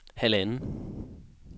halvanden